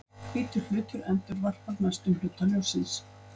Hvítur hlutur endurvarpar mestum hluta ljóssins.